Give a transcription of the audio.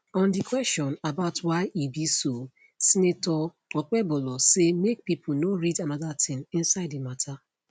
on di question about why e be so senator okpebholo say make pipo no read anoda tin inside di mata